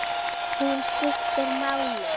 Hún skiptir máli.